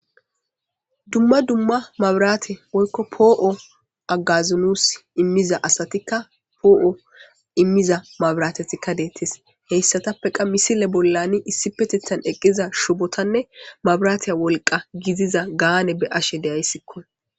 Duma dumma maburate woyiki poo'o agazo nuus imizayssa asati poo imiza mabirateti betesi, hesatapeka misile bollani issipetethani eqida shubotane mabite woliqa gidida gaane beyashe dyisiki.